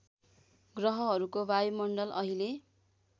ग्रहहरूको वायुमण्डल अहिले